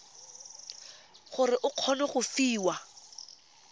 gore o kgone go fiwa